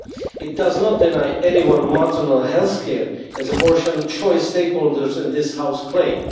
This does not deny anyone maternal health care, as abortion choice stakeholders in this House claim.